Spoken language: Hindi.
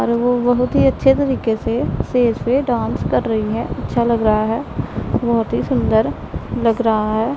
और वो बहुत ही अच्छे तरीके से सेज पे डांस कर रही है अच्छा लग रहा है बहुत ही सुंदर लग रहा है।